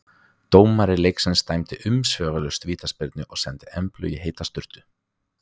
Dómari leiksins dæmdi umsvifalaust vítaspyrnu og sendi Emblu í heita sturtu.